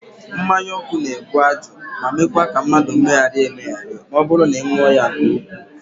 Mmanyaọkụ na-ebu ajụ ma meekwa ka mmadụ megherie emegheri ma ọ bụrụ na ị ṅụọ ya nke ukwuu